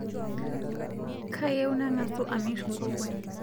Kayieu nang'asu amir nkokon